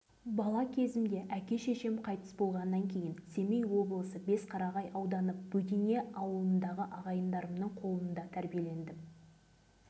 қайсы бірін айтайын деп ақсақал ауыр күрсінді осы май ауданының май совхозына қарасты қаратерек ауылында туып